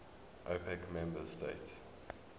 opec member states